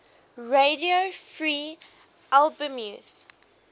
radio free albemuth